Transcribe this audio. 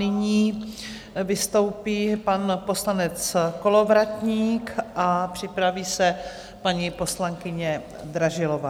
Nyní vystoupí pan poslanec Kolovratník a připraví se paní poslankyně Dražilová.